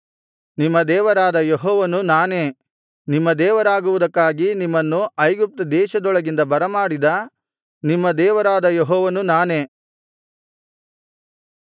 ನಿಮ್ಮ ದೇವರಾದ ಯೆಹೋವನು ನಾನೇ ನಿಮ್ಮ ದೇವರಾಗುವುದಕ್ಕಾಗಿ ನಿಮ್ಮನ್ನು ಐಗುಪ್ತ ದೇಶದೊಳಗಿಂದ ಬರಮಾಡಿದ ನಿಮ್ಮ ದೇವರಾದ ಯೆಹೋವನು ನಾನೇ